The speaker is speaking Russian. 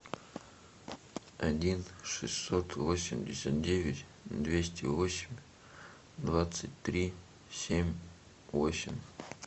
один шестьсот восемьдесят девять двести восемь двадцать три семь восемь